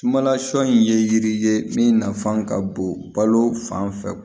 Sumala sɔ in ye yiri ye min nafan ka bon balo fan fɛ